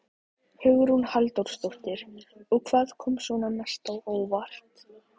Hugrún Halldórsdóttir: Og hvað kom svona mest á óvart?